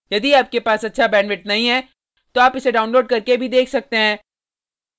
यदि आपके पास अच्छा bandwidth नहीं है तो आप इसको download करने और देख सकते हैं